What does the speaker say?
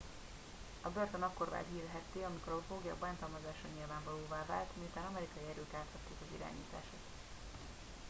a börtön akkor vált hírhedté amikor a foglyok bántalmazása nyilvánvalóvá vált miután amerikai erők átvették az irányítást